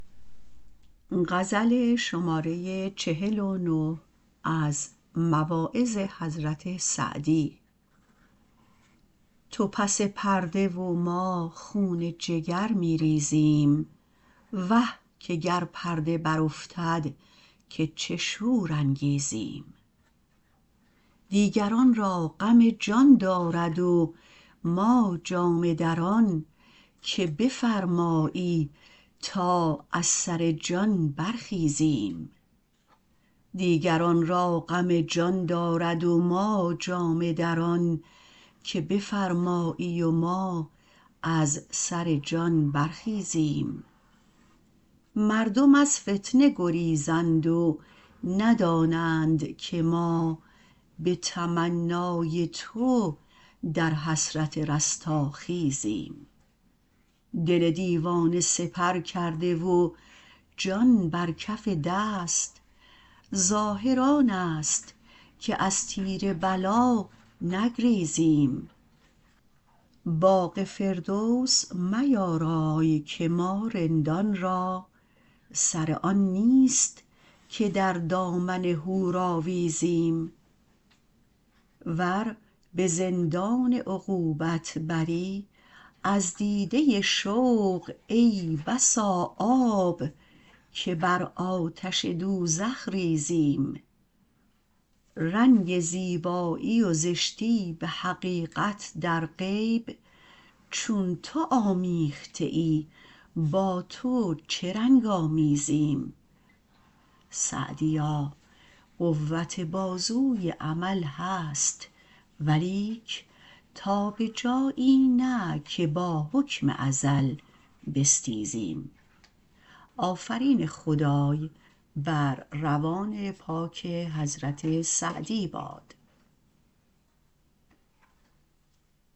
تو پس پرده و ما خون جگر می ریزیم وه که گر پرده برافتد که چه شور انگیزیم دیگران را غم جان دارد و ما جامه دران که بفرمایی و ما از سر جان برخیزیم مردم از فتنه گریزند و ندانند که ما به تمنای تو در حسرت رستاخیزیم دل دیوانه سپر کرده و جان بر کف دست ظاهر آن است که از تیر بلا نگریزیم باغ فردوس میارای که ما رندان را سر آن نیست که در دامن حور آویزیم ور به زندان عقوبت بری از دیده شوق ای بسا آب که بر آتش دوزخ ریزیم رنگ زیبایی و زشتی به حقیقت در غیب چون تو آمیخته ای با تو چه رنگ آمیزیم سعدیا قوت بازوی عمل هست ولیک تا به جایی نه که با حکم ازل بستیزیم